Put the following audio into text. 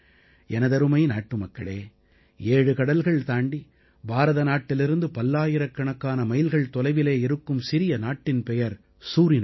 எனதருமை நாட்டுமக்களே ஏழு கடல்கள் தாண்டி பாரத நாட்டிலிருந்து பல்லாயிரக்கணக்கான மைல்கள் தொலைவிலே இருக்கும் சிறிய நாட்டின் பெயர் சூரினாம்